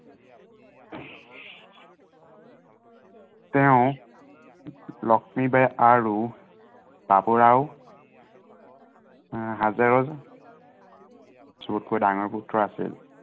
তেওঁ লক্ষ্মীবাঈ আৰু, বাবুৰাও এৰ হাজেৰৰ সবতকৈ ডাঙৰ পুত্ৰ আছিল।